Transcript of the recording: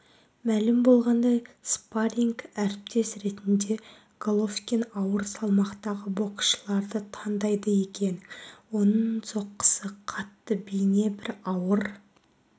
мәлім болғандай спарринг-әріптес ретінде головкин ауыр салмақтағы боксшыларды таңдайды екен оның соққысы қатты бейне бір ауыр